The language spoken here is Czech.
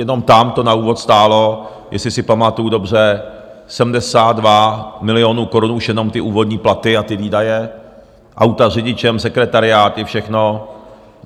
Jenom tam to na úvod stálo, jestli si pamatuju dobře, 72 milionů korun, už jenom ty úvodní platy a ty výdaje, auta s řidičem, sekretariáty, všechno.